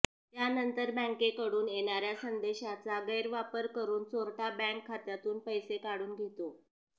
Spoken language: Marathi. त्यानंतर बँकेकडून येणाऱ्या संदेशाचा गैरवापर करून चोरटा बँक खात्यातून पैसे काढून घेतो